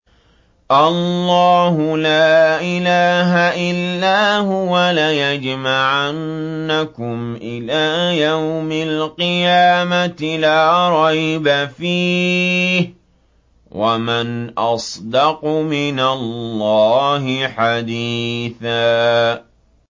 اللَّهُ لَا إِلَٰهَ إِلَّا هُوَ ۚ لَيَجْمَعَنَّكُمْ إِلَىٰ يَوْمِ الْقِيَامَةِ لَا رَيْبَ فِيهِ ۗ وَمَنْ أَصْدَقُ مِنَ اللَّهِ حَدِيثًا